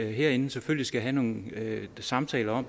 herinde selvfølgelig skal have nogle samtaler om